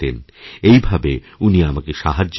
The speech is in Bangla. এই ভাবে উনি আমাকে সাহায্য করতেন